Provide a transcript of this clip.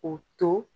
O to